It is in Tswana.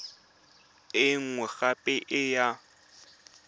e nngwe gape e ya